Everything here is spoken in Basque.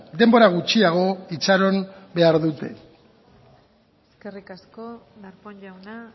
denbora gutxiago itxaron behar dute eskerrik asko darpón jauna